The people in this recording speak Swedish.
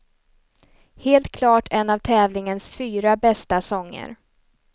Helt klart en av tävlingens fyra bästa sånger.